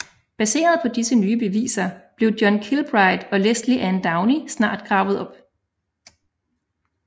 Baseret på disse nye beviser blev John Kilbride og Lesley Ann Downey snart gravet op